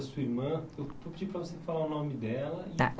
da sua irmã. Eu vou pedir para você falar o nome dela. Tá.